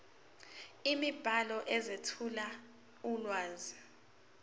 imibhalo ezethula ulwazi